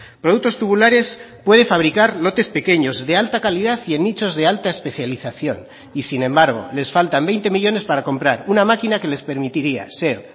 productos tubulares puede fabricar lotes pequeños de alta calidad y en nichos de alta especialización y sin embargo les faltan veinte millónes para comprar una máquina que les permitiría ser